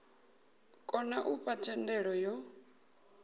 kona u fha thendelo yo